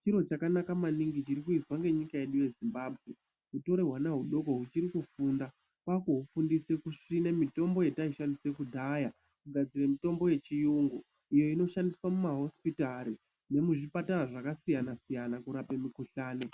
Chiro chakanaka maningi chiri kuizwa ngenyika yedu yeZimbabwe. Kutore hwana hudoko huchiri kufunda kwakuhufundise kusime mitombo yetaishandise kudhaya, kugadzire mitombo yechiyungu iyo inoshandiswa mumahosipitari nemuzvipatara zvakasiyana siyana kurape mikuhlani